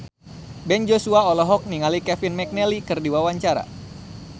Ben Joshua olohok ningali Kevin McNally keur diwawancara